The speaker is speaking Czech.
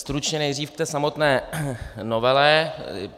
Stručně nejdřív k té samotné novele.